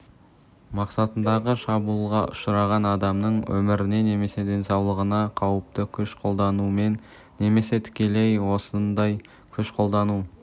мақсатындағы шабуылға ұшыраған адамның өміріне немесе денсаулығына қауіпті күш қолданумен немесе тікелей осындай күш қолдану